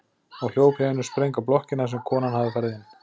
Og hljóp í einum spreng að blokkinni þar sem konan hafði farið inn.